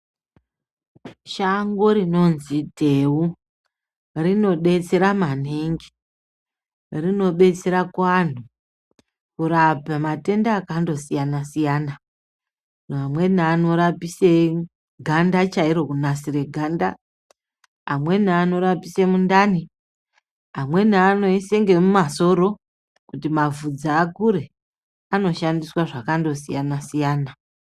Shango rinonzi dhewu, rinodetsera maningi, rinobetsera kuanhu, kurapa matenda akandosiyana-siyana. Amweni anorapise ganda chairo ,kunasira ganda, amweni anorapise mundani, amweni anoyise ngemumasoro kuti mavhudzi akure, anoshandiswa zvakandosiyana-siyana.